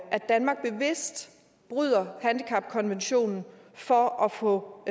danmark bevidst bryder handicapkonventionen for at få